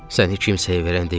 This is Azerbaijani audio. Səni heç kimsəyə verən deyiləm.